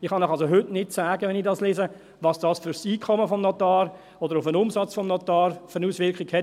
Ich kann Ihnen also heute nicht sagen, wenn ich das lese, welche Auswirkung das auf das Einkommen des Notars oder auf den Umsatz des Notars hat.